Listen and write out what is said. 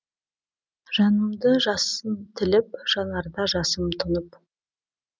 жанымды жасын тіліп жанарда жасым тұнып